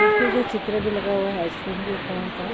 इसमें जो चित्र भी लगा हुआ है आइस-क्रीम के कोन का --